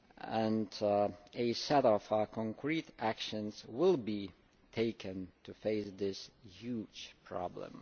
and a set of concrete actions will be taken to face this huge problem.